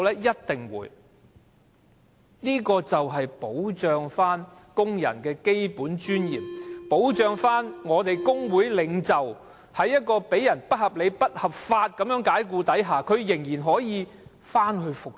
一定會，這修訂便是要保障工人的基本尊嚴，保障工會領袖遭受不合理、不合法解僱時，仍然可以復職。